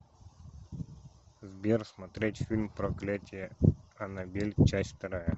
сбер смотреть фильм проклятие аннабель часть вторая